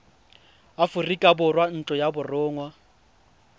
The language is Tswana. aforika borwa ntlo ya borongwa